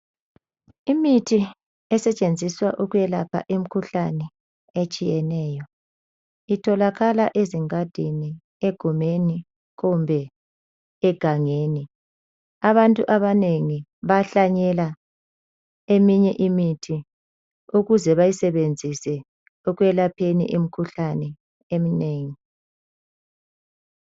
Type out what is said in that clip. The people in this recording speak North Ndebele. Imithi esetshenziswa ukwelapha imkhuhlane etshiyeneyo itholakala ezingadini egumeni kumbe egangeni. Abantu abanengi bahlanyela eminye imithi ukuze bayisebenzise ekwelapheni imkhuhlane eminengi.